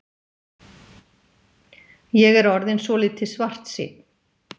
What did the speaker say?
Ég er orðinn svolítið svartsýnn.